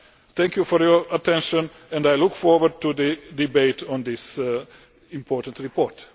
Thank you for your attention and I look forward to the debate on this important report.